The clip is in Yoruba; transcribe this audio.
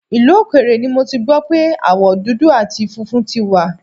Ìlú òkèèrè ni mo ti gbọ́ pé aáwọ̀ dudu àti funfun tí wà